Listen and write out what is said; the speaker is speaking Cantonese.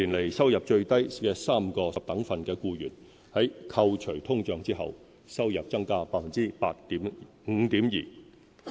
四年來，收入最低3個十等分的僱員，在扣除通脹後，收入增加 5.2%。